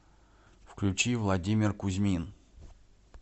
включи владимир кузьмин